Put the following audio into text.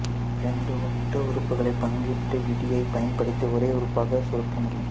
இரண்டு ஒத்த உறுப்புகளைப் பங்கீட்டு விதியைப் பயன்படுத்தி ஒரே உறுப்பாகச் சுருக்க முடியும்